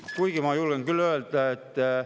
Kuigi ma julgen küll öelda, et …